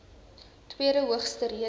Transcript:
tweede hoogste rede